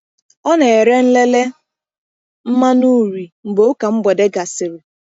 Ọ na-ere nlele mmanụ uri mgbe ụka mgbede gasịrị.